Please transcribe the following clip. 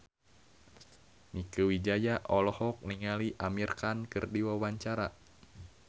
Mieke Wijaya olohok ningali Amir Khan keur diwawancara